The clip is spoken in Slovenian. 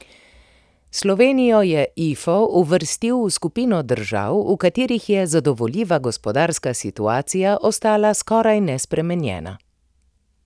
Slovenijo je Ifo uvrstil v skupino držav, v katerih je zadovoljiva gospodarska situacija ostala skoraj nespremenjena.